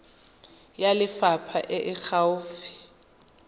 ya lefapha e e gaufi